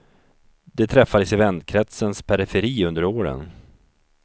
De träffades i vänkretsens periferi under åren.